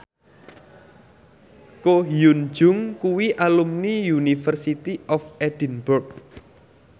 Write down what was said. Ko Hyun Jung kuwi alumni University of Edinburgh